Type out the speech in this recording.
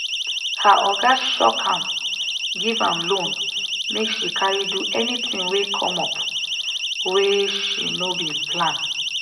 her oga shock am give am loan make she carry do anything wey come up where she no bin plan